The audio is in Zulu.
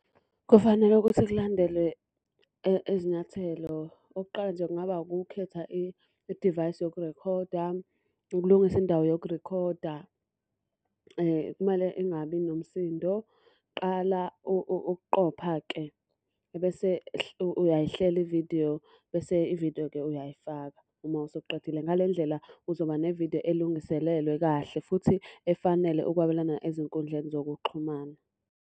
Kufanele ukuthi kulandelwe izinyathelo. Okokuqala nje kungaba ukukhetha i-device yokurekhoda, ukulungisa indawo yokurekhoda. Kumele ingabi nomsindo. Qala ukuqopha-ke, ebese uyayihlela ividiyo, bese ividiyo-ke uyayifaka, uma usuqedile. Ngale ndlela uzoba nevidiyo elungiselelwe kahle futhi efanele ukwabelana ezinkundleni zokuxhumana.